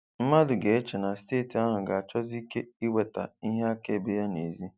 Mmadụ ga-eche na steeti ahụ ga-achọsi ike iweta ihe akaebe ya nèzí.